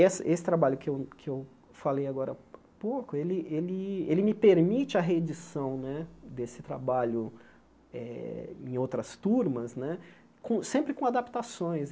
Essa esse trabalho que eu que eu falei agora pouco, ele ele ele me permite a reedição né desse trabalho eh em outras turmas né, com sempre com adaptações.